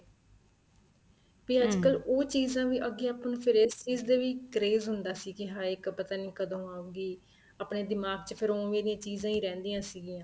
ਵੀ ਅੱਜਕਲ ਉਹ ਚੀਜ਼ਾਂ ਵੀ ਅੱਗੇ ਆਪਾਂ ਨੂੰ ਫ਼ੇਰ ਇਸ ਚੀਜ਼ ਦੇ ਵੀ craze ਹੁੰਦਾ ਸੀ ਕੀ ਹਾਏ ਪਤਾ ਨਹੀਂ ਕਦੋਂ ਆਉਗੀ ਆਪਣੇ ਦਿਮਾਗ ਚ ਫ਼ੇਰ ਉਵੇ ਦੀਆ ਹੀ ਚੀਜ਼ਾਂ ਰਹਿੰਦੀਆਂ ਸੀਗੀਆਂ